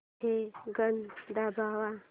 हे गाणं थांबव